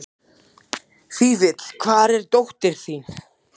Fífill, hvar er dótið mitt?